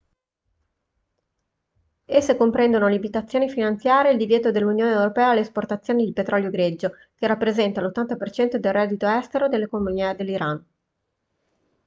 esse comprendono limitazioni finanziarie e il divieto dell'unione europea all'esportazione di petrolio greggio che rappresenta l'80% del reddito estero nell'economia dell'iran